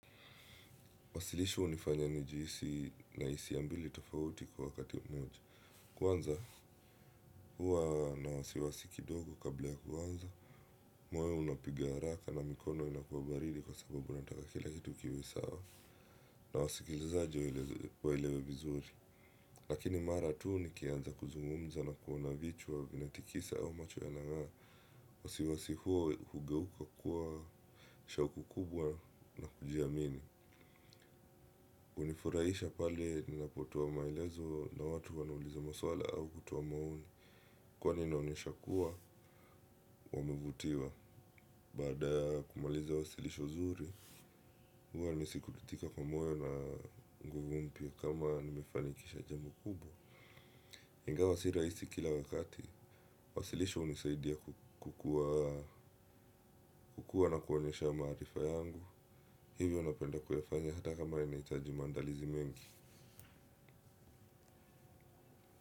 Wasilisho hunifanya nijihisi nahisia mbili tofauti kwa wakati umoja. Kwanza huwa na wasiwasi kidogo kabla ya kuanza. Moyo unapiga haraka na mikono inakuwa baridi kwa sababu unataka kila kitu kiwe sawa. Na wasikilizaji waelewe vizuri. Lakini mara tuu nikianza kuzungumza na kuona vichwa vinatikisa au macho yanang'aa. Wasiwasi huo hugeuka kuwa shauku kubwa na kujiamini. Hunifuraisha pale ninapotoa maelezo na watu wanauliza maswala au kutoa maoni kwani inaonyesha kuwa, wamevutiwa baada ya kumaliza wasilisho zuri huwa nasikitika kwa moyo na nguvu mpya kama nimefanikisha jambo kubwa ingawa si rahisi kila wakati wasilisho hunisaidia kukuwa na kuonyesha maarifa yangu hivyo napenda kuyafanya hata kama inahitaji maandalizi mengi.